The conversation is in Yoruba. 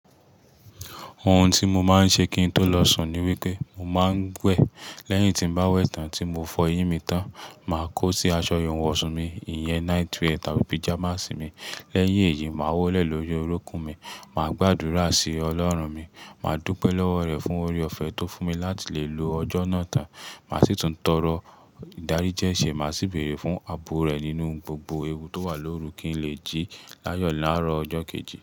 Ohun tí mo máa ń ṣe kí n tó lọ sùn ni wípé mo máa ń wẹ̀. Lẹ́yìn tí bá wẹ̀ tán tí mo fọ eyín mi tán, màá kó sí aṣọ ìwọ̀nsùn mi, ìyẹ́n night wear tàbí pyjamas mi. Lẹ́yìn èyí, màá wọlé lórí orúnkún mi, màá gbàdúrà sí Ọlọ́run mi, màá dúpẹ́ lọ́wọ́ rẹ̀ fún oore-ọ̀fẹ́ tó fún mi láti lè lo ọjọ́ náà tán. Màá sì tún tọrọ ìdáríjẹ́ṣẹ́, màá sì bèrè fún àbo rẹ̀ nínú gbogbo ewu tó wà lórú kí n lè jí láyọ̀ láàárọ̀ ọjọ́ kejì.